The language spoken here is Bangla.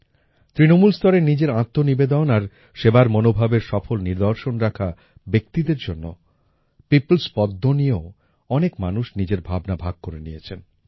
তৃনমূলস্তরে নিজের আত্মনিবেদন আর সেবার মনোভাবের সফল নিদর্শন রাখা ব্যক্তিদের জন্য পিপলস্ পদ্ম নিয়েও অনেক মানুষ নিজের ভাবনা ভাগ করে নিয়েছেন